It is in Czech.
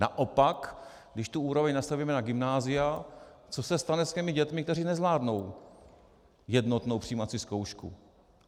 Naopak, když tu úroveň nastavíme na gymnázia, co se stane s těmi dětmi, které nezvládnou jednotnou přijímací zkoušku?